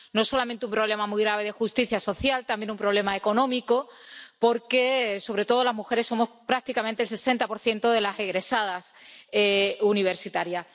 No solamente un problema muy grave de justicia social, también un problema económico porque, sobre todo, las mujeres somos prácticamente el 60 de las egresadas universitarias.